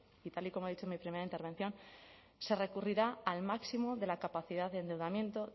y tal y como he dicho en mi primera intervención se recurrirá al máximo de la capacidad de endeudamiento